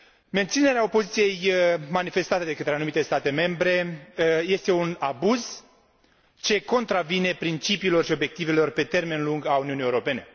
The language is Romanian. Menținerea opoziției manifestate de către anumite state membre este un abuz ce contravine principiilor și obiectivelor pe termen lung ale Uniunii Europene.